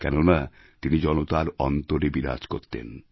কেননা তিনি জনতার অন্তরে বিরাজ করতেন